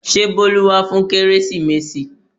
Ṣé Bolu wá fún kérésìmesì?